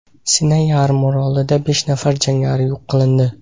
Sinay yarimorolida besh nafar jangari yo‘q qilindi.